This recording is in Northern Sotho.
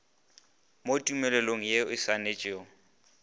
mo tumelelanong ye e saenetšwego